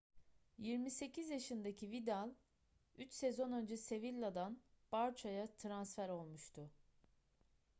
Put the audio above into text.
28 yaşındaki vidal üç sezon önce sevilla'dan barça'ya transfer olmuştu